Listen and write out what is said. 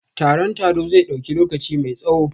Taron taro zai dauki lokaci mai tsawo?